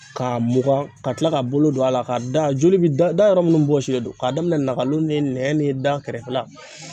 Ka mugan ka tila ka bolo don a la ka da joli bi da yɔrɔ minnu bɔsilen don k'a daminɛ nakalo ni nɛn ni da kɛrɛfɛla.